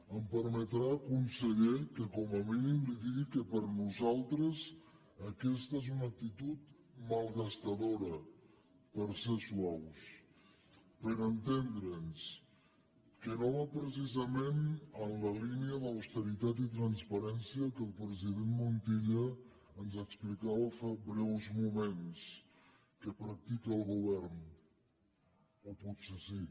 em permetrà conseller que li digui que com a mínim li digui que per nosaltres és una actitud malgastadora per ser suaus per entendre’ns que no va precisament en la línia d’austeritat i transparència que el president montilla ens explicava fa breus moments que practica el govern o potser sí